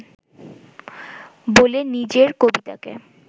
বলে নিজের কবিতাকে